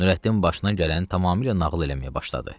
Nurəddin başına gələni tamamilə nağıl eləməyə başladı.